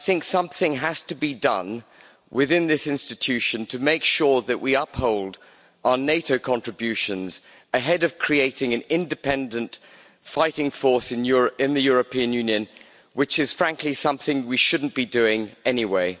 Something has to be done within this institution to make sure that we uphold our NATO contributions ahead of creating an independent fighting force in the European Union, which is, frankly, something we should not be doing anyway.